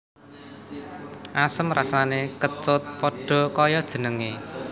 Asem rasané kecut pada kaya jenengé